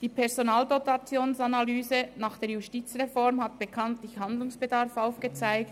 Die Personaldotationsanalyse nach der Justizreform hat bekanntlich Handlungsbedarf aufgezeigt.